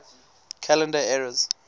calendar eras